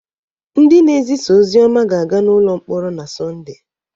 Ndị na-ezisa ozi ọma ga-aga n’ụlọ mkpọrọ na Sọnde